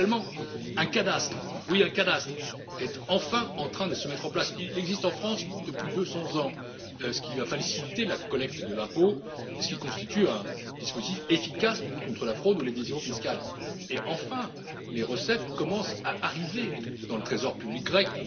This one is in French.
Parallèlement, un cadastre, oui un cadastre est enfin en train de se mettre en place il existe en France depuis 200 ans ce qui va faciliter la collecte de l'impôt et ce qui constitue un dispositif efficace de lutte contre la fraude ou l'évasion fiscale et, enfin, les recettes commencent à arriver dans le trésor public grec.